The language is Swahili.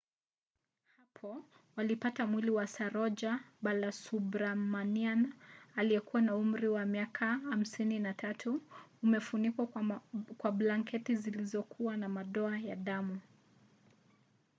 hapo walipata mwili wa saroja balasubramanian aliyekuwa na umri wa miaka 53 umefunikwa kwa blanketi zilizokuwa na madoa ya damu